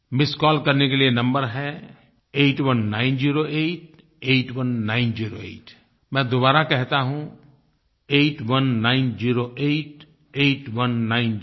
missed call करने के लिए नंबर है 8190881908 मैं दोबारा कहता हूँ 8190881908